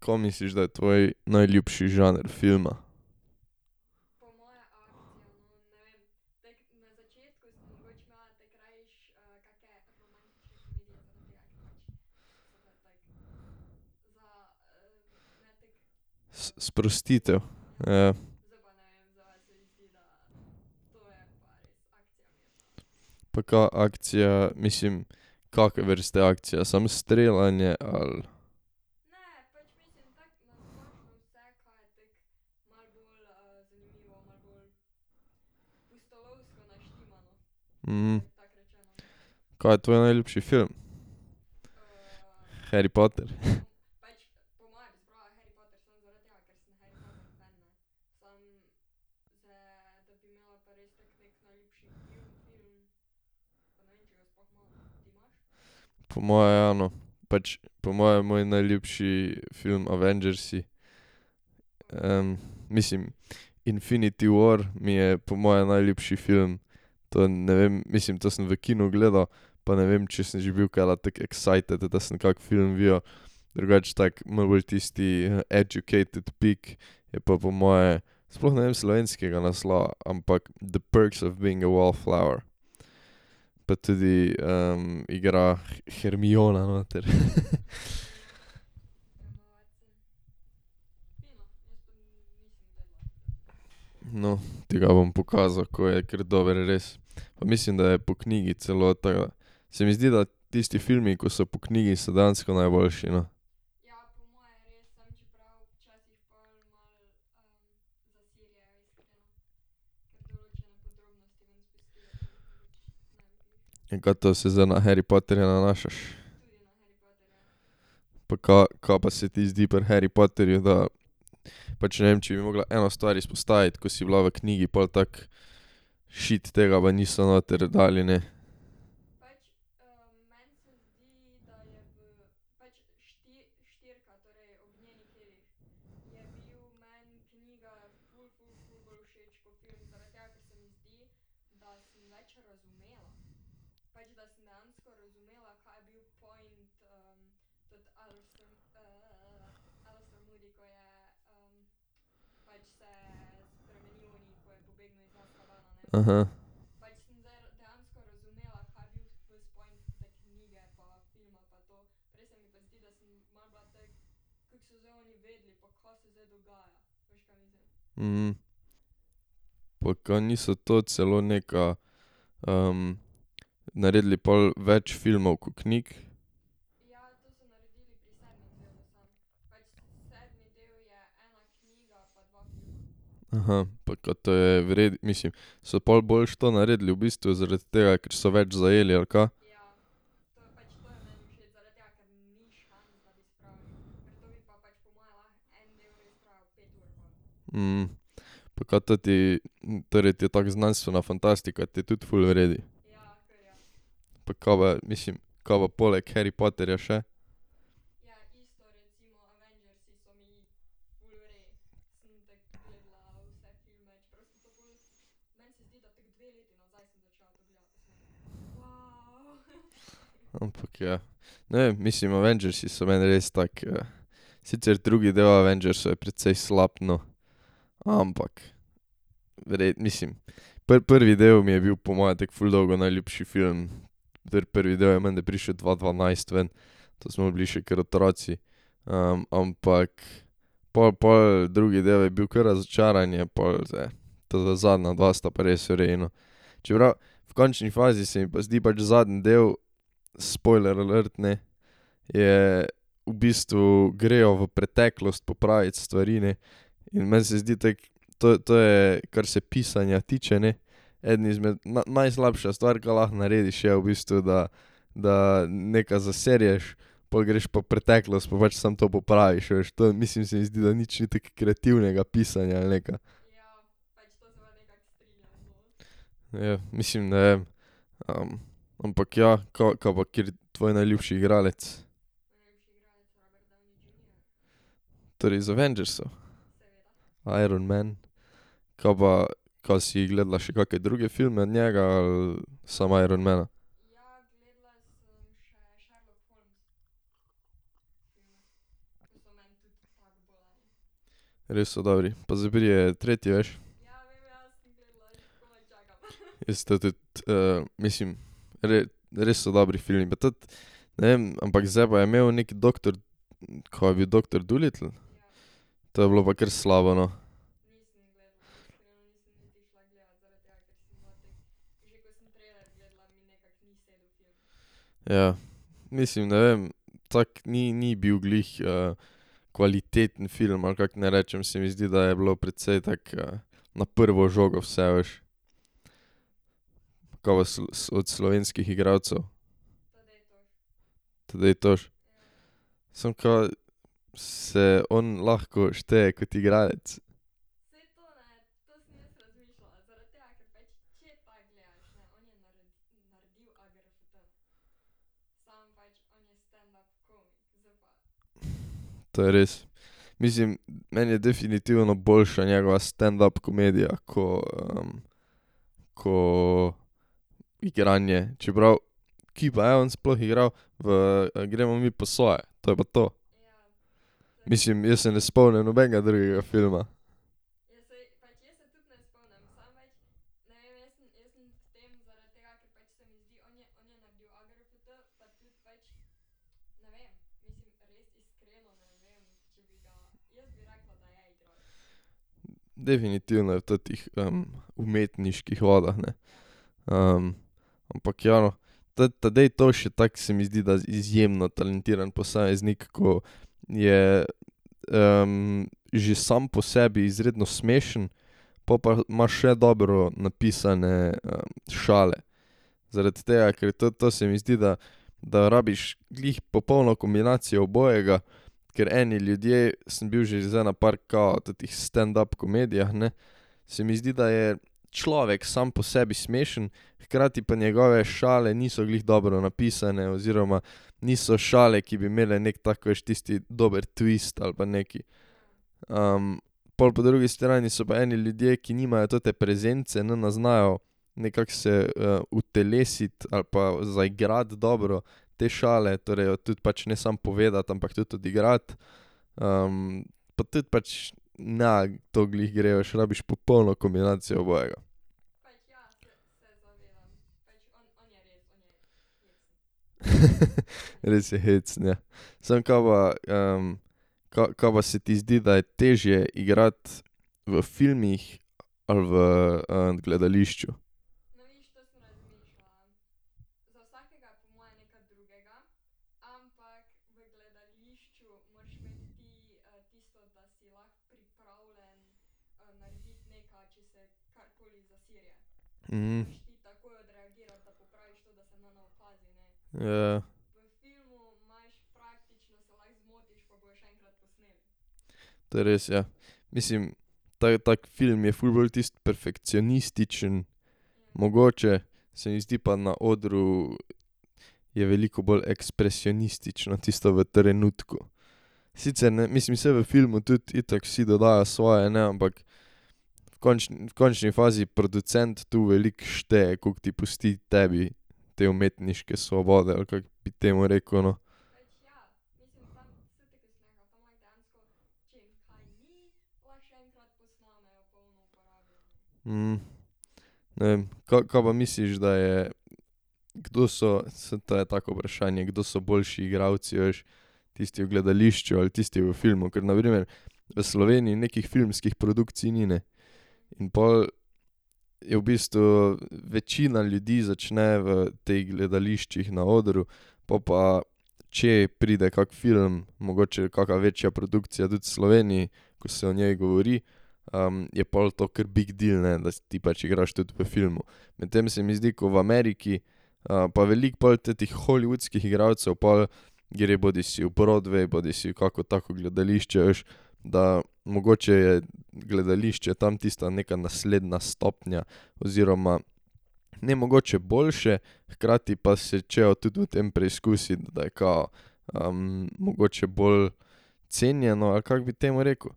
Ka misliš, da je tvoj najljubši žanr filma? sprostitev, ja. Pa ka akcija, mislim, kake vrste akcija, samo streljanje, ali? Ka je tvoj najljubši film? Harry Potter? Po moje ja, no. Pač, po moje je moj najljubši film Avengersi. mislim, Infinity war mi je po moje najljubši film. To ne vem, mislim, to sem v kinu gledal, pa ne vem, če sem že bil kdaj tako excited, da sem kak film videl. Drugače tako, malo bolj tisti educated pick je pa po moje, sploh ne vem slovenskega naslova, ampak The perks of being a wallflower. Pa tudi igra Hermiona noter. No, ti ga bom pokazal, ko je kar dober, res. Pa mislim, da je po knjigi celo, tako da. Se mi zdi, da tisti filmi, ko so po knjigi, so dejansko najboljši, no. In ka to se zdaj na Harry Potterja nanašaš? Pa ka, ka pa se ti zdi pri Harry Potterju, da pač ne vem, če bi mogla eno stvar izpostaviti, ko si bila v knjigi pol tako, šit, tega pa niso noter dali, ne. Pa ka niso to celo nekaj naredili pol več filmov ko knjig? Pa ka to je mislim, so pol boljše to naredili, v bistvu zaradi tega, ker so več zajeli, ali ka? Pa kaj teti, torej ti je tako, znanstvena fantastika ti je tudi ful v redu? Pa ka mislim, ka pa poleg Harry Potterja še? Ampak, ja. Ne vem, mislim, Avengersi so meni res tako sicer drugi del Avengersov je precej slab, no. Ampak, mislim, prvi del mi je bil po moje tako ful dolgo najljubši film, prvi del je menda prišel dva dvanajst ven, to smo bili še kar otroci. ampak pol pol drugi del je bil kar razočaranje, pol zdaj teta zadnja dva sta pa res v redu, no. Čeprav v končni fazi se mi pa zdi pač zadnji del spoiler alert, ne, je v bistvu grejo v preteklost popravit stvari, ne. In meni se zdi tako, to to je kar se pisanja tiče, ne, eden izmed, najslabša stvar, ka lahko narediš je, v bistvu, da da nekaj zaserješ, pol greš pa v preteklost pa pač samo to popraviš, veš, to mislim, se mi zdi, da nič ni tako kreativnega pisanja, ali nekaj. Ja, mislim, ne vem, ampak ja, ka pa kateri tvoj najljubši igralec? Torej iz Avengersov? Iron man. Ka pa, ka si gledala še kake druge filme njega, ali samo Iron mana? Res so dobri, pa zdaj pride tretji, veš? Jaz to tudi, mislim, res so dobri filmi pa tudi, ne vem, ampak zdaj pa je imel neki doktor, ka je bil Doktor Dolittle? To je bilo pa kar slabo, no. Ja. Mislim, ne vem, tako ni ni bil glih kvaliteten film, ali kako naj rečem, se mi zdi, da je bilo precej tako na prvo žogo vse, a veš. Ka pa od slovenskih igralcev? Tadej Toš? Samo ka se on lahko šteje kot igralec? To je res. Mislim, meni je definitivno boljša njegova standup komedija, ko ko igranje, čeprav, kje pa je on sploh igral? V Gremo mi po svoje. To je pa to. Mislim, jaz se ne spomnim nobenega drugega filma. Definitivno je v tetih umetniških vodah, ne. Ampak ja, no. Teti Tadej Toš je tak, se mi zdi, da izjemno talentiran posameznik, ko je že sam po sebi izredno smešen, po pa imaš še dobro napisane šale. Zaradi tega, ker tudi to se mi zdi, da da rabiš glih popolno kombinacijo obojega, ker eni ljudje, sem bil že zdaj na par kao tetih standup komedijah, ne, se mi zdi, da je človek sam po sebi smešen, hkrati pa njegove šale niso glih dobro napisane oziroma niso šale, ki bi imele neki taki, veš, tisti dobri twist ali pa nekaj. pol po drugi strani so pa eni ljudje, ki nimajo tote prezence, ne znajo nekako se utelesiti ali pa zaigrati dobro te šale, torej jo tudi pač ne samo povedati, ampak tudi odigrati. pa tudi pač ne to glih gre, veš, rabiš popolno kombinacijo obojega. Res je hecen, ja. Samo ka pa ka ka pa se ti zdi, da je težje igrati, v filmih ali v gledališču? Ja. To je res, ja. Mislim, tak film je ful bolj tisti perfekcionističen, mogoče, se mi zdi, pa na odru je veliko bolj ekspresionistično, tisto v trenutku. Sicer mislim, saj v filmu tudi itak vsi dodajo svoje, ne, ampak v v končni fazi producent tu veliko šteje, koliko ti pusti tebi te umetniške svobode ali kako bi temu rekel, no. Ne vem, ka, ka pa misliš, da je, kdo so, saj to je tako vprašanje, kdo so boljši igralci, veš. Tisti v gledališču ali tisti v filmu, ker na primer v Sloveniji nekih filmskih produkcij ni, ne. In pol je v bistvu večina ljudi začne v teh gledališčih, na odru. Po pa če pride kak film, mogoče kaka večja produkcija tudi v Sloveniji, ko se o njej govori, je pol to kar big deal, ne, da si ti pač igraš tudi v filmu. Medtem se mi zdi, ko v Ameriki pa veliko pol tetih hollywoodskih igralcev pol gre bodisi v Broadway, bodisi v kako tako gledališče, a veš, da mogoče je gledališče tam tista neka naslednja stopnja, oziroma ne mogoče boljše, hkrati pa se hočejo tudi v tem preizkusiti, da je kao mogoče bolj cenjeno, ali kako bi temu rekel.